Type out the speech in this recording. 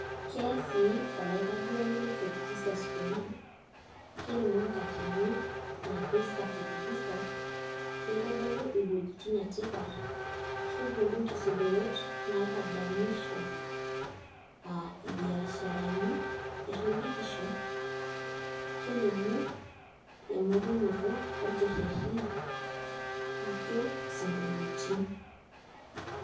Kees sii olaitaduani leFort Jesus kuna, kelimu enkati naipirta Fort Jesus, kitodolu iwuejitin etipat, kebolu nkisudorot naitadamisho aa mbiasharani erridikisho kelimu eyiolounoto orkerreri nijio isinkolioitin.